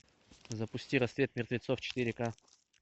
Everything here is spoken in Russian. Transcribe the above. запусти рассвет мертвецов четыре ка